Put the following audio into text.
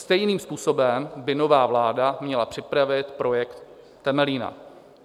Stejným způsobem by nová vláda měla připravit projekt Temelína.